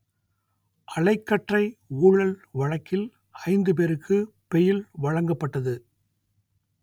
அலைக்கற்றை ஊழல் வழக்கில் ஐந்து பேருக்கு பெயில் வழங்கப்பட்டது